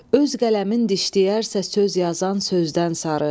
Öz qələmin dişləyərsə söz yazan sözdən sarı.